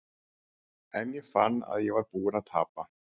En ég fann að ég var búinn að tapa.